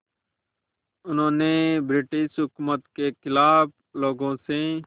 उन्होंने ब्रिटिश हुकूमत के ख़िलाफ़ लोगों से